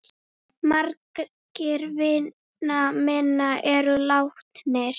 Margir vina minna eru látnir.